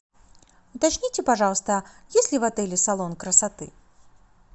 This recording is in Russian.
уточните пожалуйста есть ли в отеле салон красоты